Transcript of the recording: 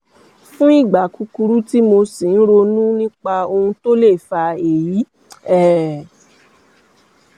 fún ìgbà kúkúrú tí mo sì ń ronú nípa ohun tó lè fa èyí um